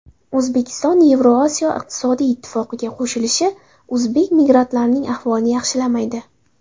O‘zbekiston Yevrosiyo iqtisodiy ittifoqiga qo‘shilishi o‘zbek migrantlarining ahvolini yaxshilamaydi.